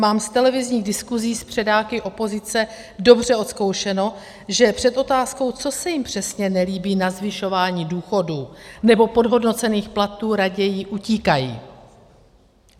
Mám z televizních diskusí s předáky opozice dobře odzkoušeno, že před otázkou, co se jim přesně nelíbí na zvyšování důchodů nebo podhodnocených platů, raději utíkají.